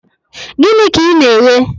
Gịnị ka ị na-eghe?